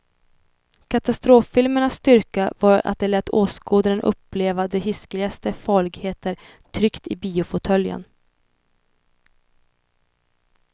Katastroffilmernas styrka var att de lät åskådaren uppleva de hiskeligaste farligheter tryggt i biofåtöljen.